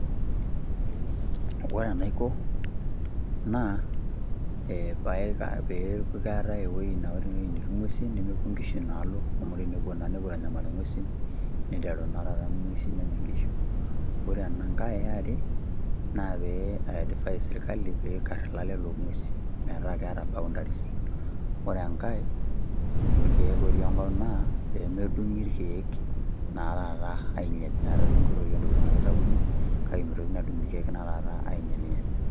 Ore enaiko naa, eh peeketae ewueji na ore ene wueji netii nguesi nemepuo inkishu inaalo amu, tenepuo naa nepuo aitanyamal inguesin neiteru naa taata inguesin nenya inkishu. Ore ena kae eare naa pee ai advice sirkali pee ikar ilaleta loo nguesi metaa keeta boundaries . Ore enkae irkeek otii enkop naa, pee medungi irkeek naa taata ainyial metokoitoi naijo intokitin ake itayuni kake mitokini adung irkeek naa taata anyielnyiel.